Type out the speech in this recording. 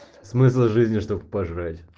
смысл жизни чтобы пожрать